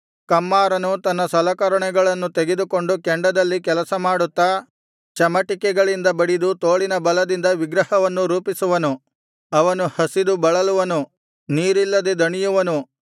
ಕಮ್ಮಾರನು ತನ್ನ ಸಲಕರಣೆಗಳನ್ನು ತೆಗೆದುಕೊಂಡು ಕೆಂಡದಲ್ಲಿ ಕೆಲಸಮಾಡುತ್ತಾ ಚಮಟಿಕೆಗಳಿಂದ ಬಡಿದು ತೋಳಿನ ಬಲದಿಂದ ವಿಗ್ರಹವನ್ನು ರೂಪಿಸುವನು ಅವನು ಹಸಿದು ಬಳಲುವನು ನೀರಿಲ್ಲದೆ ದಣಿಯುವನು